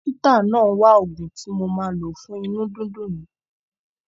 Dọ́kítà náà ń wa òògùn tí mo ma lo fún inú dídùn yìí.